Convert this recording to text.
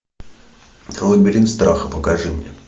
лабиринт страха покажи мне